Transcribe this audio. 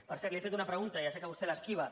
per cert li he fet una pregunta ja sé que vostè l’esquiva